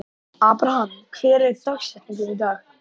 Abraham, hver er dagsetningin í dag?